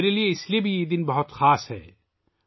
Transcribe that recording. میرے لیے یہ دن بھی بہت خاص ہے